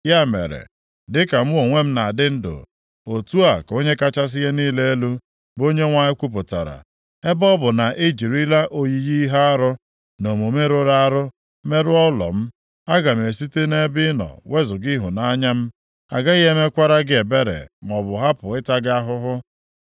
Ya mere, dịka mụ onwe m na-adị ndụ, otu a ka Onye kachasị ihe niile elu, bụ Onyenwe anyị kwupụtara, ebe ọ bụ na i jirila oyiyi ihe arụ na omume rụrụ arụ merụọ ụlọ m, aga m esite nʼebe ị nọ wezuga ịhụnanya m. Agaghị m emekwara gị ebere maọbụ hapụ ịta gị ahụhụ.